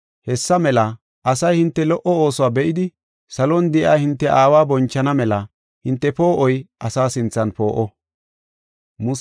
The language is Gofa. Hessa mela asay hinte lo77o oosuwa be7idi, salon de7iya hinte aawa bonchana mela hinte poo7oy asa sinthan poo7o.